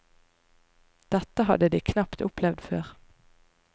Dette hadde de knapt opplevd før.